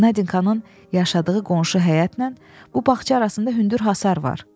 Nadinkanın yaşadığı qonşu həyətlə bu bağça arasında hündür hasar var.